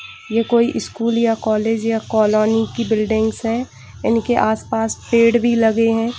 ये कोई स्कूल या कॉलेज या कॉलोनी की बिल्डिंग्स हैं इनके आस-पास पेड़ भी लगे हैं।